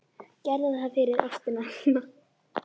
Gerðu það fyrir ástina þína.